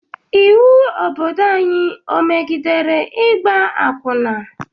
Ịwu Obodo anyị o megidere ịgba akwụna?